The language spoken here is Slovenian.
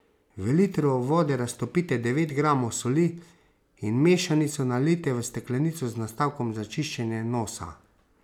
V litru vode raztopite devet gramov soli in mešanico nalijte v steklenico z nastavkom za čiščenje nosa.